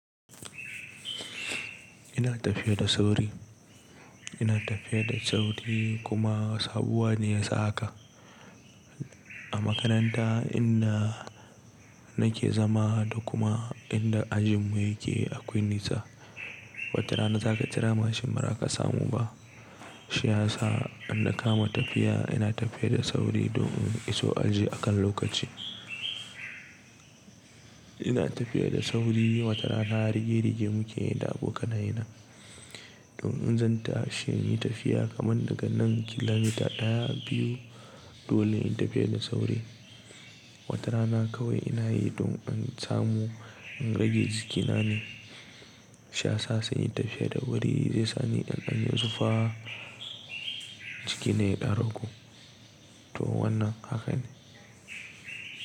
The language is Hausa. Ina tafiya da sauri, ina tafiya da sauri kuma sabuwa ne ya saka. A makaranta inda nake zama da kuma inda ajinmu yake akwai nisa. Wata rana za ka kira mashin mara ka samu ba. Shi ya sa in da kama tafiya ina tafiya da sauri don in iso aji akan lokaci. Ina tafiya da sauri wata rana rige-rige muke yi da abokanai na. Don in zanta shi in yi tafiya kamar daga nan kilomita ɗaya, biyu dole in tafiya da sauri. Wata rana kawai ina yi don in samu in rage jikinane. Shi ya sa sai in yi tafiya da wuri zai sani an ɗau zufa jiki na ya ɗau rogo. To wannan haka ne.